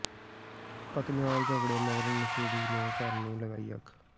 ਪਤਨੀ ਨਾਲ ਝਗਡ਼ੇ ਮਗਰੋਂ ਨਸ਼ੇੜੀ ਨੇ ਘਰ ਨੂੰ ਲਗਾਈ ਅੱਗ